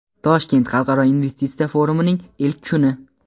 Toshkent xalqaro investitsiya forumining ilk kuni.